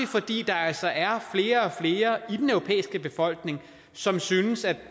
fordi der altså er flere og flere i den europæiske befolkning som synes at